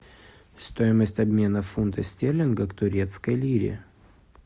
стоимость обмена фунта стерлинга к турецкой лире